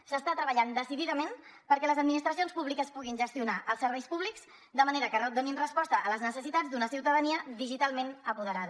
s’està treballant decididament perquè les administracions públiques puguin gestionar els serveis públics de manera que donin resposta a les necessitats d’una ciutadania digitalment apoderada